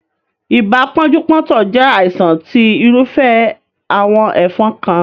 Ibà pónjú póntò jé àìsàn tí irúfẹ́ àwon ẹ́fon kan